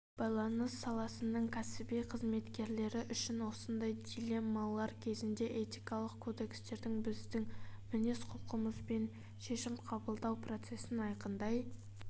байланыс саласының кәсіби қызметкерлері үшін осындай дилеммалар кезінде этикалық кодекстер біздің мінез-құлқымыз бен шешім қабыллау процесін айқындай